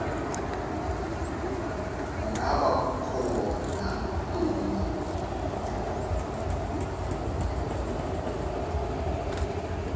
ngaba kukho ntoni